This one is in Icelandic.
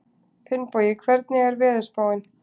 Finnbogi, hvernig er veðurspáin?